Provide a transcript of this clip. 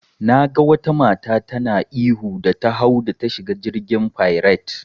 Naga wata mata tana ihu da ta hau da ta shiga jirgin fairet.